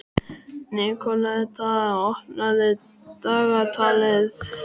Nikoletta, opnaðu dagatalið mitt.